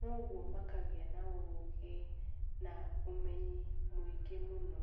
koguo makagĩana ũgĩ na ũmenyi mũingĩ mũno.